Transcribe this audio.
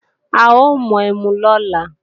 A ó mu ẹmu lọ́la